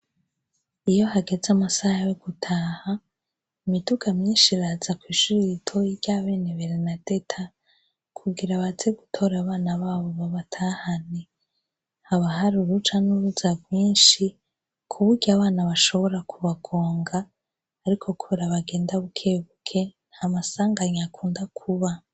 Iyo hageze amasaha yo gutaha, imiduga myinshi iraza kw'ishuri iritoyi irya bene berenadeta, kugira baze gutora abana babo babatahane, habahari uruja n'uruza bwinshi ku buryo abana bashobora kubagonga, ariko kubera bagenda bukebuke, nta masanganye akunda kuba.